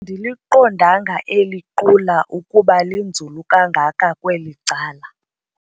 ndiliqondanga eli qula ukuba linzulu kangaka kweli cala.